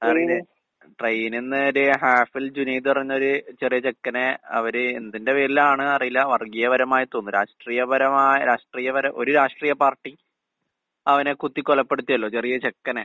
അതറിയില്ലേ? ട്രെയിനിന്ന് ഒര് ഹാഫിൽ ജുനീദ് പറഞ്ഞൊര് ചെറിയ ചെക്കനെ അവര് എന്തിന്റെ പേരിലാണ് അറിയില്ല, വർഗ്ഗീയപരമായി തോന്ന്ന്ന് രാഷ്ട്രീയപരമാ രാഷ്ട്രീയപര ഒരു രാഷ്ട്രീയ പാർട്ടി അവനെ കുത്തി കൊലപ്പെടുത്തിയല്ലോ ചെറിയ ചെക്കനെ.